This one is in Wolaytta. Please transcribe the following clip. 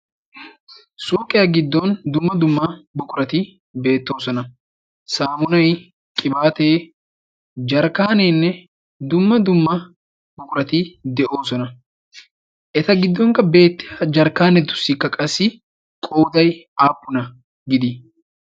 sooqiyaa giddon dumma dumma buqurati beettoosona saamunai qibaatee jarkkaaneenne dumma dumma buqurati de'oosona eta giddonkka beettia jarkkaanetussikka qassi qooday aappuna gidii